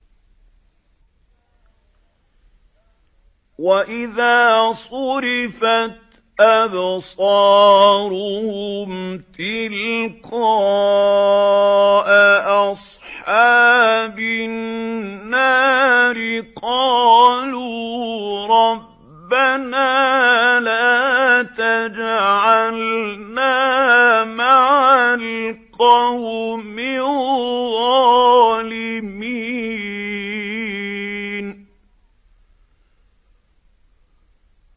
۞ وَإِذَا صُرِفَتْ أَبْصَارُهُمْ تِلْقَاءَ أَصْحَابِ النَّارِ قَالُوا رَبَّنَا لَا تَجْعَلْنَا مَعَ الْقَوْمِ الظَّالِمِينَ